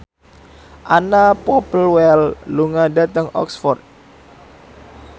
Anna Popplewell lunga dhateng Oxford